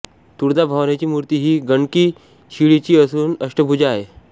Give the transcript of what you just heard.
तुळजाभवानीची मूर्ती ही गंडकी शिळेची असून अष्टभुजा आहे